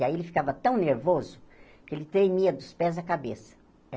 E aí ele ficava tão nervoso que ele tremia dos pés à cabeça.